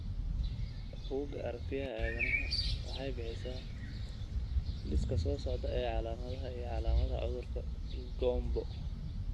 Bugga Aragtiyaha Aanadanaha waxay bixisaa liiska soo socda ee calaamadaha iyo calaamadaha cudurka GOMBO.